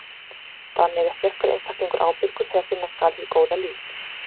Þannig er sérhver einstaklingur ábyrgur þegar finna skal hið góða líf.